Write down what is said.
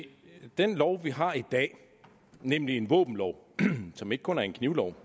se den lov vi har i dag nemlig en våbenlov som ikke kun er en knivlov